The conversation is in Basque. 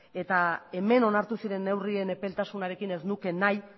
eta hemen onartu ziren neurrien epeltasunarekin ez nuke nahi